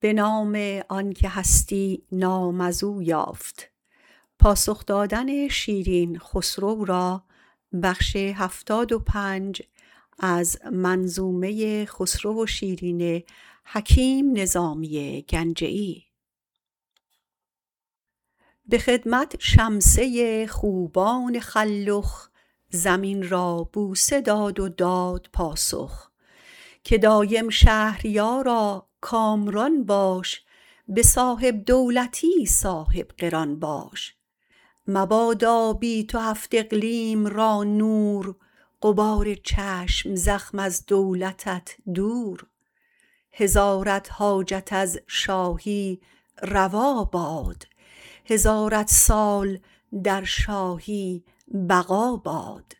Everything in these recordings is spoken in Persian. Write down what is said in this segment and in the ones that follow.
به خدمت شمسه خوبان خلخ زمین را بوسه داد و داد پاسخ که دایم شهریارا کامران باش به صاحب دولتی صاحب قران باش مبادا بی تو هفت اقلیم را نور غبار چشم زخم از دولتت دور هزارت حاجت از شاهی روا باد هزارت سال در شاهی بقا باد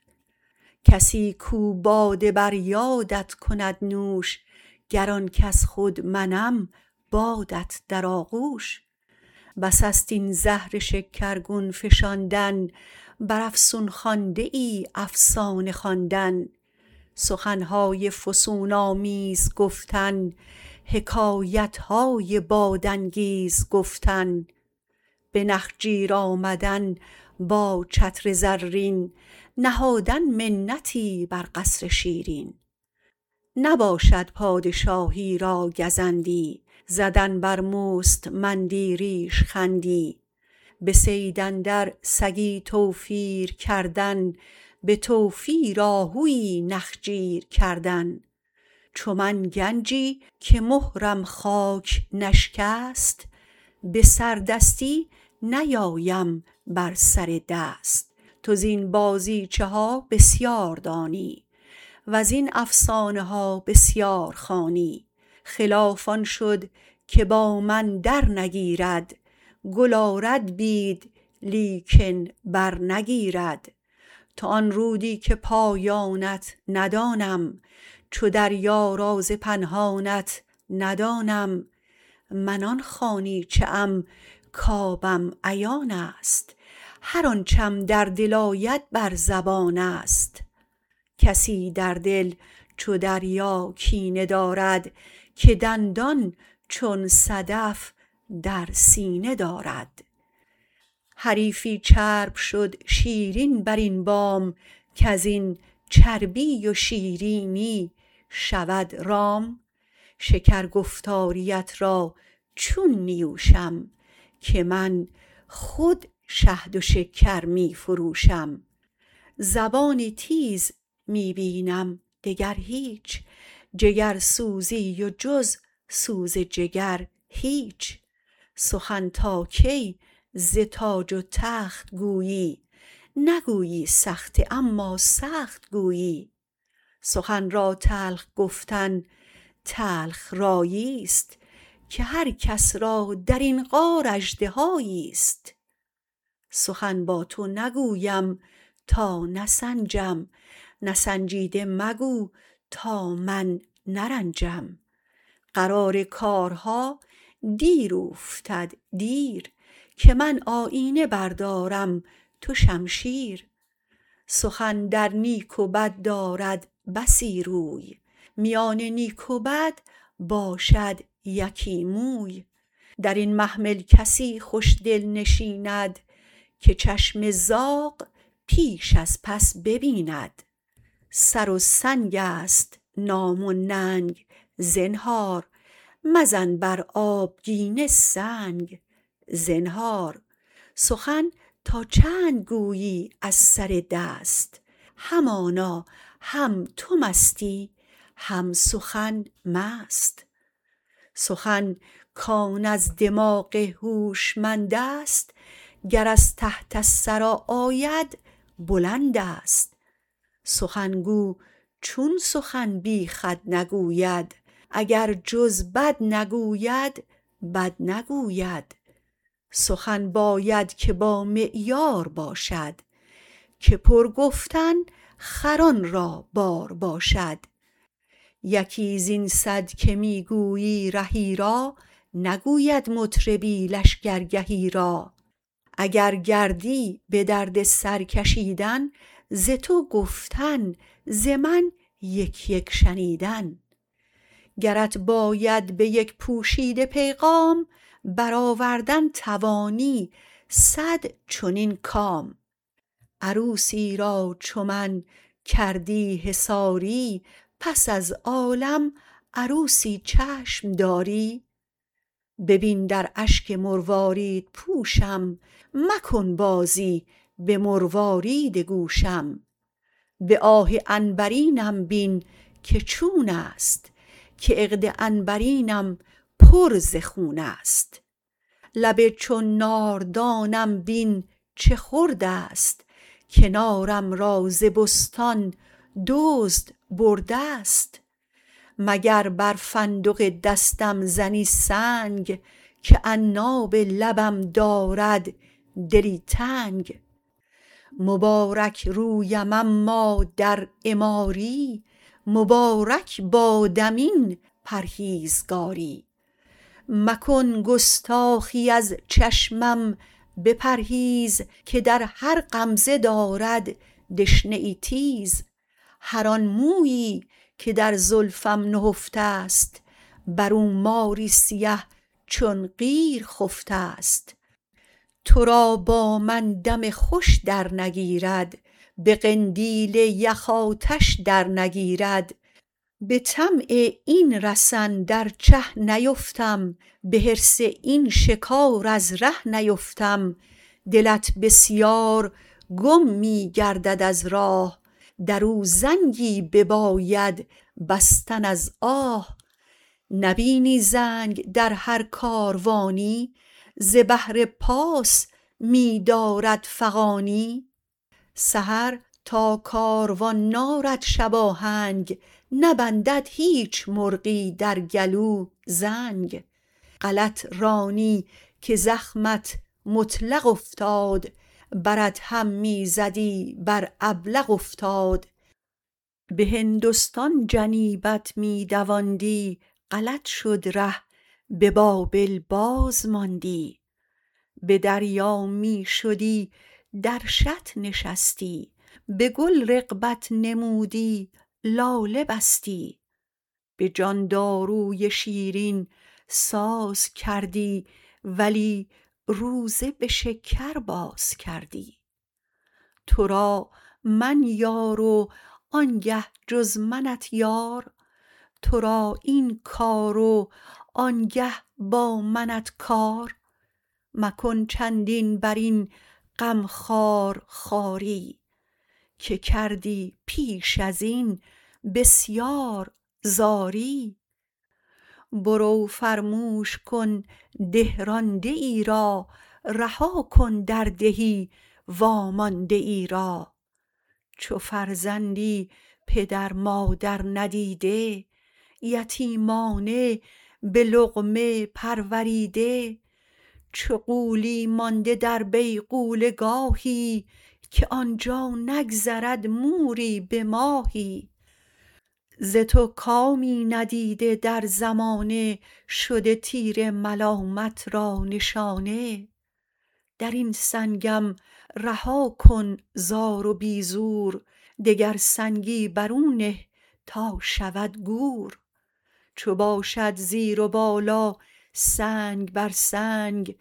کسی کاو باده بر یادت کند نوش گر آن کس خود منم بادت در آغوش بس است این زهر شکر گون فشاندن بر افسون خوانده ای افسانه خواندن سخن های فسون آمیز گفتن حکایت های بادانگیز گفتن به نخجیر آمدن با چتر زرین نهادن منتی بر قصر شیرین نباشد پادشاهی را گزندی زدن بر مستمند ی ریشخند ی به صید اندر سگی توفیر کردن به توفیر آهو یی نخجیر کردن چو من گنجی که مهرم خاک نشکست به سردستی نیایم بر سر دست تو زین بازیچه ها بسیار دانی وزین افسانه ها بسیار خوانی خلاف آن شد که با من در نگیرد گل آرد بید لیکن بر نگیرد تو آن رودی که پایانت ندانم چو دریا راز پنهانت ندانم من آن خانیچه ام کآبم عیان است هر آنچم در دل آید بر زبان است کسی در دل چو دریا کینه دارد که دندان چون صدف در سینه دارد حریفی چرب شد شیرین بر این بام کزین چربی و شیرینی شود رام شکر گفتاریت را چون نیوشم که من خود شهد و شکر می فروشم زبانی تیز می بینم دگر هیچ جگرسوزی و جز سوز جگر هیچ سخن تا کی ز تاج و تخت گویی نگویی سخته اما سخت گویی سخن را تلخ گفتن تلخ رایی است که هر کس را درین غار اژدها یی است سخن با تو نگویم تا نسنجم نسنجیده مگو تا من نرنجم قرار کارها دیر اوفتد دیر که من آیینه بردارم تو شمشیر سخن در نیک و بد دارد بسی روی میان نیک و بد باشد یکی موی درین محمل کسی خوش دل نشیند که چشم زاغ پیش از پس ببیند سر و سنگ است نام و ننگ زنهار مزن بر آبگینه سنگ زنهار سخن تا چند گویی از سر دست همانا هم تو مستی هم سخن مست سخن کآن از دماغ هوشمند است گر از تحت الثری آید بلند است سخن گو چون سخن بی خود نگوید اگر جز بد نگوید بد نگوید سخن باید که با معیار باشد که پر گفتن خران را بار باشد یکی زین صد که می گویی رهی را نگوید مطربی لشگرگهی را اگر گردی به درد سر کشیدن ز تو گفتن ز من یک یک شنیدن گرت باید به یک پوشیده پیغام برآوردن توانی صد چنین کام عروسی را چو من کردی حصاری پس از عالم عروسی چشم داری ببین در اشک مروارید پوشم مکن بازی به مروارید گوشم به آه عنبر ینم بین که چون است که عقد عنبرینه ام پر ز خون است لب چون ناردانم بین چه خرد است که نار م را ز بستان دزد برده است مگر بر فندق دستم زنی سنگ که عناب لبم دارد دلی تنگ مبارک رویم اما در عماری مبارک بادم این پرهیزگاری مکن گستاخی از چشمم بپرهیز که در هر غمزه دارد دشنه ای تیز هر آن مویی که در زلفم نهفته است بر او ماری سیه چون قیر خفته است تو را با من دم خوش در نگیرد به قندیل یخ آتش در نگیرد به طمع این رسن در چه نیفتم به حرص این شکار از ره نیفتم دلت بسیار گم می گردد از راه درو زنگی بباید بستن از آه نبینی زنگ در هر کاروانی ز بهر پاس می دارد فغانی سحر تا کاروان نارد شباهنگ نبندد هیچ مرغی در گلو زنگ غلط رانی که زخمه ات مطلق افتاد بر ادهم می زدی بر ابلق افتاد به هندوستان جنیبت می دواندی غلط شد ره به بابل باز ماندی به دریا می شدی در شط نشستی به گل رغبت نمودی لاله بستی به جان دارو ی شیرین ساز کردی ولی روزه به شکر باز کردی تو را من یار و آن گه جز منت یار تو را این کار و آن گه با منت کار مکن چندین بر این غم خوار خواری که کردی پیش از این بسیار زاری برو فرموش کن ده رانده ای را رها کن در دهی وامانده ای را چو فرزندی پدر-مادر ندیده یتیمانه به لقمه پروریده چو غولی مانده در بیغوله گاهی که آن جا نگذرد موری به ماهی ز تو کامی ندیده در زمانه شده تیر ملامت را نشانه در این سنگم رها کن زار و بی زور دگر سنگی بر او نه تا شود گور چو باشد زیر و بالا سنگ بر سنگ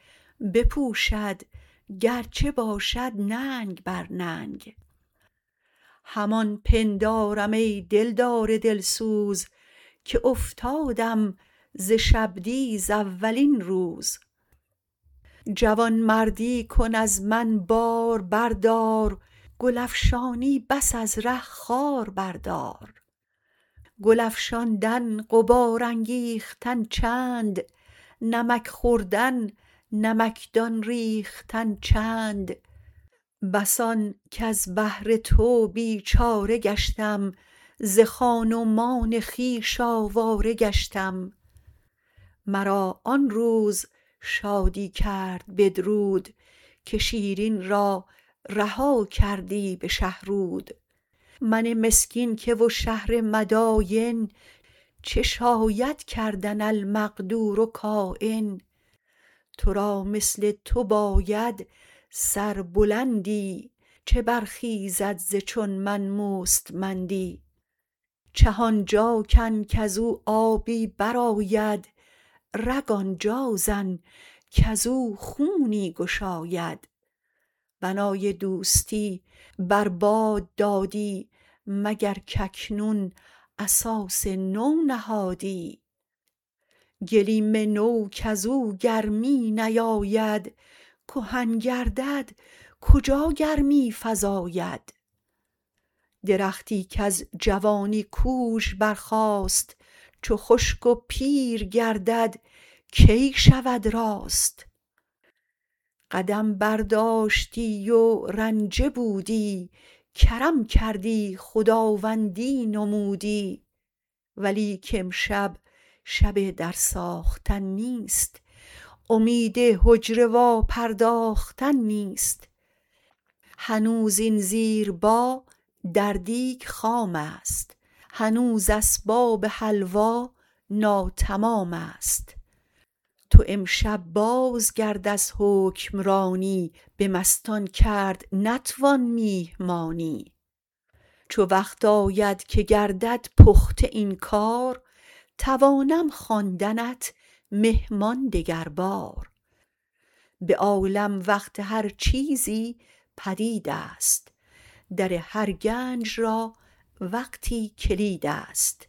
بپوشد گر چه باشد ننگ بر ننگ همان پندارم ای دل دار دل سوز که افتادم ز شبدیز اولین روز جوان مردی کن از من بار بردار گل افشانی بس از ره خار بردار گل افشاندن غبار انگیختن چند نمک خوردن نمکدان ریختن چند بس آن کز بهر تو بی چاره گشتم ز خان و مان خویش آواره گشتم مرا آن روز شادی کرد بدرود که شیرین را رها کردی به شهرود من مسکین که و شهر مداین چه شاید کردن المقدور کاین تو را مثل تو باید سر بلندی چه برخیزد ز چون من مستمند ی چه آن جا کن کز او آبی برآید رگ آن جا زن کز او خونی گشاید بنای دوستی بر باد دادی مگر کاکنون اساس نو نهادی گلیم نو کز او گرمی نیاید کهن گردد کجا گرمی فزاید درختی کز جوانی کوژ برخاست چو خشک و پیر گردد کی شود راست قدم برداشتی و رنجه بودی کرم کردی خدواندی نمودی ولیک امشب شب در ساختن نیست امید حجره وا پرداختن نیست هنوز این زیربا در دیگ خام است هنوز اسباب حلوا ناتمام است تو امشب باز گرد از حکم رانی به مستان کرد نتوان میهمانی چو وقت آید که گردد پخته این کار توانم خواندنت مهمان دگر بار به عالم وقت هر چیزی پدید است در هر گنج را وقتی کلید است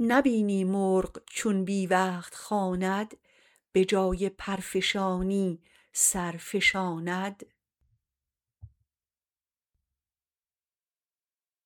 نبینی مرغ چون بی وقت خواند به جای پرفشانی سر فشاند